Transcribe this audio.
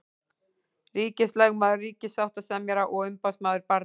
Ríkislögmaður, ríkissáttasemjari og umboðsmaður barna.